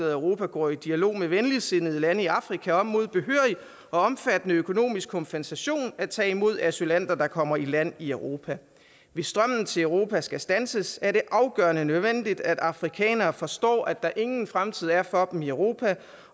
at europa går i dialog med venligsindede lande i afrika om mod behørig og omfattende økonomiske kompensation at tage imod asylanter der kommer i land i europa hvis strømmen til europa skal standses er det afgørende nødvendigt at afrikanere forstår at der ingen fremtid er for dem i europa